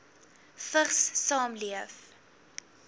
vigs saamleef